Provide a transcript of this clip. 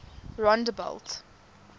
rondebult